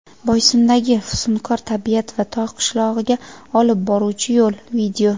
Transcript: Boysundagi fusunkor tabiat va tog‘ qishlog‘iga olib boruvchi yo‘l.